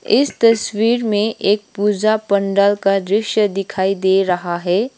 इस तस्वीर में एक पूजा पंडाल का दृश्य दिखाई दे रहा है।